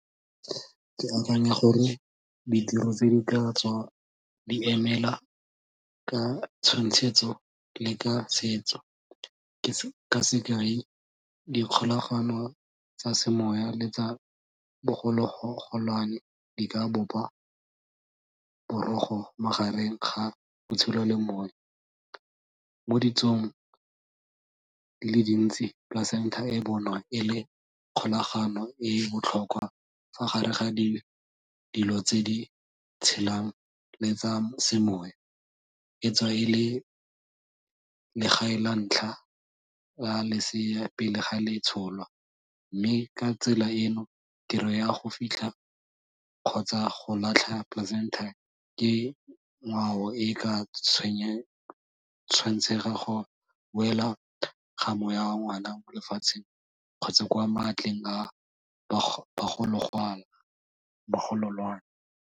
Ke akanya gore ditiro tse di katswa di emela ka tshwantshetso le ka setso, ke ka sekai dikgolagano tsa semoya le tsa bogologolwane di ka bopa borogo magareng ga botshelo le . Mo ditsong di le dintsi placenta e bonwa e le kgolagano e botlhokwa fa gare ga dilo tse di tshelang le tsa semoya. Etswa e le legae la ntlha la lesea pele ga le tsholwa, mme ka tsela eno tiro ya go fitlha kgotsa go latlha placenta ke ngwao e ka go boela ga moya wa ngwana lefatsheng kgotsa kwa maatleng a bagololwane.